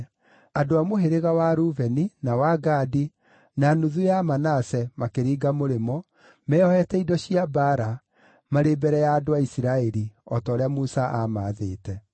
Andũ a mũhĩrĩga wa Rubeni, na wa Gadi, na nuthu ya Manase makĩringa mũrĩmo, meeohete indo cia mbaara, marĩ mbere ya andũ a Isiraeli, o ta ũrĩa Musa aamaathĩte.